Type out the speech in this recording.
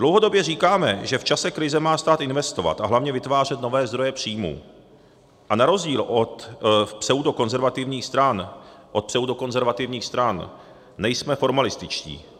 Dlouhodobě říkáme, že v čase krize má stát investovat a hlavně vytvářet nové zdroje příjmů a na rozdíl od pseudokonzervativních stran nejsme formalističtí.